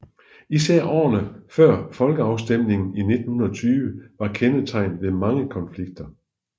Især årene før folkeafstemningen i 1920 var kendetegnet ved mange konflikter